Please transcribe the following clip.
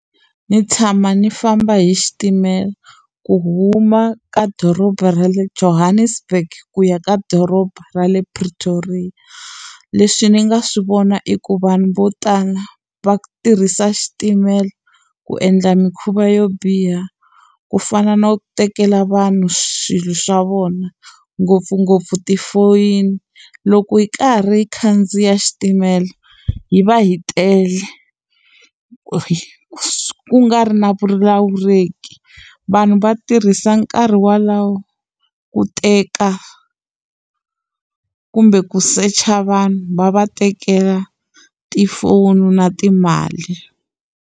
Ni tshama ni famba hi xitimela, ku huma ka doroba ra le Johannesburg ku ya ka doroba ra le Pretoria. Leswi ni nga swi vona i ku vanhu vo tala va tirhisa xitimela ku endla mikhuva yo biha, ku fana na ku tekela vanhu swilo swa vona ngopfungopfu tifoyini. Loko hi karhi hi khandziya xitimela, hi va hi tele, ku nga ri na vulawuleki. Vanhu va tirhisa nkarhi wolowo ku teka, kumbe ku search-a vanhu va va tekela tifoni na timali.